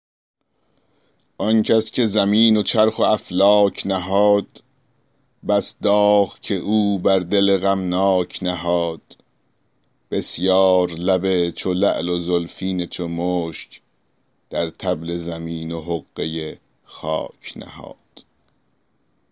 آن کس که زمین و چرخ و افلاک نهاد بس داغ که او بر دل غمناک نهاد بسیار لب چو لعل و زلفین چو مشک در طبل زمین و حقه خاک نهاد